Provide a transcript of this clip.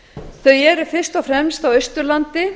þau eru fyrst og fremst á austurlandi